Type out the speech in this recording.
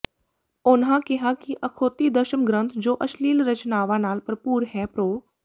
ਉਨ੍ਹਾਂ ਕਿਹਾ ਕਿ ਅਖੌਤੀ ਦਸਮ ਗ੍ਰੰਥ ਜੋ ਅਸ਼ਲੀਲ ਰਚਨਾਵਾਂ ਨਾਲ ਭਰਪੂਰ ਹੈ ਪ੍ਰੋ